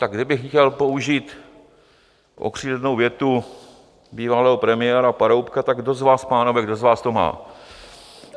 Tak kdybych chtěl použít okřídlenou větu bývalého premiéra Paroubka: tak kdo z vás, pánové, kdo z vás to má?